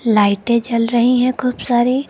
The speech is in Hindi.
लाइटें जल रही है खूब सारी।